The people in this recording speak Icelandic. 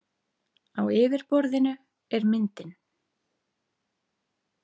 Á yfirborðinu er myndin.